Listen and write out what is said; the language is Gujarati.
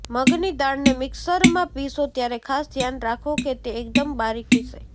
મગની દાળને મિક્સરમાં પીસો ત્યારે ખાસ ધ્યાન રાખો કે તે એકદમ બારીક પીસાય